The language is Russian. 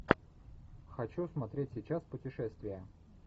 хочу смотреть сейчас путешествия